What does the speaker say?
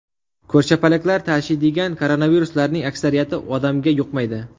Ko‘rshapalaklar tashiydigan koronaviruslarning aksariyati odamga yuqmaydi.